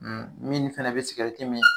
minnu fɛnɛ be mi.